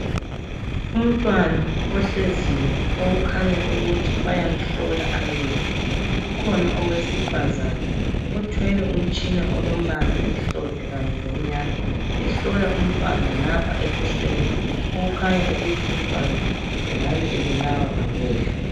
Umntwana ohleziyo okukhanya ukuthi bayamhlola amehlo. Kukhona owesifazana othwele umtshina olombala omhlophe kanye lomnyama, ehlola umntwana ngapha ebusweni, okukhanya ukuthi umntwana engabe ebulawa ngamehlo.